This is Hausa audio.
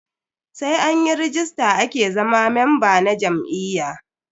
Sai anyi ragista ake zama memba na jam'iyya.